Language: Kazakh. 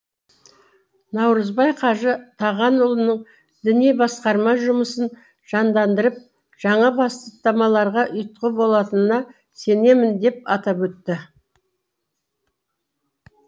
наурызбай қажы тағанұлының діни басқарма жұмысын жандандырып жаңа бастамаларға ұйытқы болатынына сенемін деп атап өтті